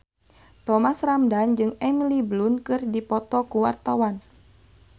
Thomas Ramdhan jeung Emily Blunt keur dipoto ku wartawan